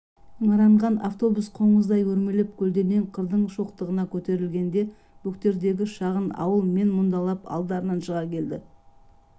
ыңыранған автобус қоңыздай өрмелеп көлденең қырдың шоқтығына көтерілгенде бөктердегі шағын ауыл мен мұндалап алдарынан шыға келді